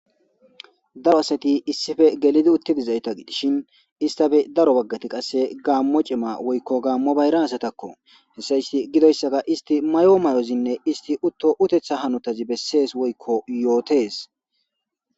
daro asati issife gelidi uttidizayta gidishin istafe daro baggati qasse gaammo cima woykko gaammo bayra asatakko hessa isti gidoyssaga isti mayo may7ozinne isti utto utetha hanotazi bessees woykko yootees